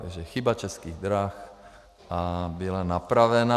Takže chyba Českých drah a byla napravena.